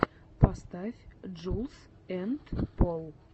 поставь джулз энд пол